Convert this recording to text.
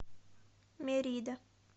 мерида